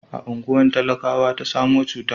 a unguwa talakawa ta samo cutan